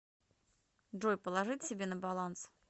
джой положить себе на баланс